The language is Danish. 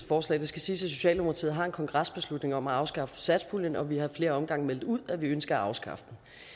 forslag det skal siges at socialdemokratiet har en kongresbeslutning om at afskaffe satspuljen og vi har flere gange meldt ud at vi ønsker at afskaffe